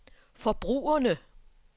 forbrugerne